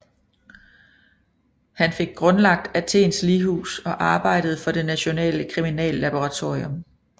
Han fik grundlagt Athens lighus og arbejdede for det nationale kriminallaboratorium